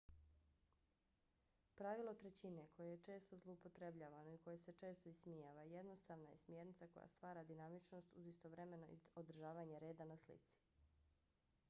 pravilo trećine koje je često zloupotrebljavano i koje se često ismijava jednostavna je smjernica koja stvara dinamičnost uz istovremeno održavanje reda na slici